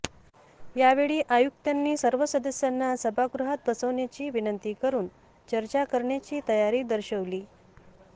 या वेळी आयुक्तांनी सर्व सदस्यांना सभागृहात बसवण्याची विनंती करून चर्चा करण्याची तयारी दर्शवली